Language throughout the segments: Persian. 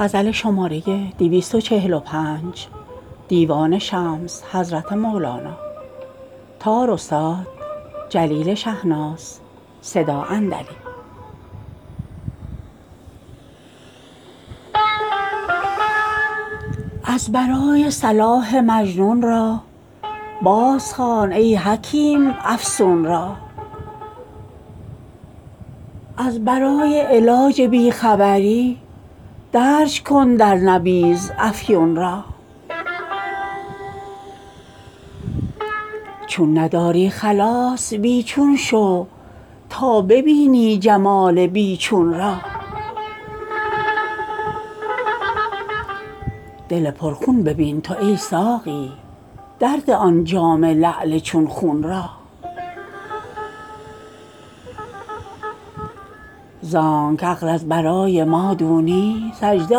از برای صلاح مجنون را بازخوان ای حکیم افسون را از برای علاج بی خبری درج کن در نبیذ افیون را چون نداری خلاص بی چون شو تا ببینی جمال بی چون را دل پرخون ببین تو ای ساقی درده آن جام لعل چون خون را زانک عقل از برای مادونی سجده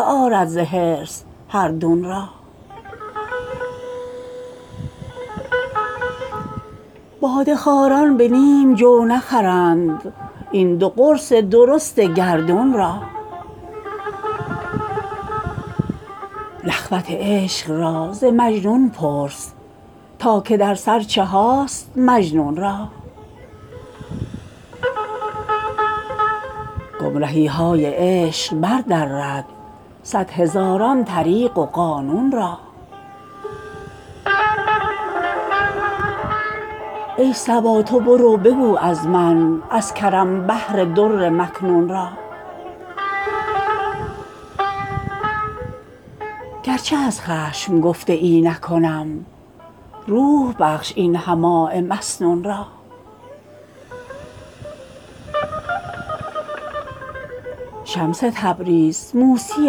آرد ز حرص هر دون را باده خواران به نیم جو نخرند این دو قرص درست گردون را نخوت عشق را ز مجنون پرس تا که در سر چهاست مجنون را گمرهی های عشق بردرد صد هزاران طریق و قانون را ای صبا تو برو بگو از من از کرم بحر در مکنون را گرچه از خشم گفته ای نکنم روح بخش این حماء مسنون را شمس تبریز موسی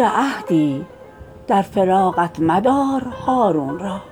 عهدی در فراقت مدارهارون را